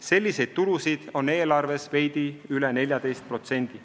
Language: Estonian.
Selliseid tulusid on eelarves veidi üle 14%.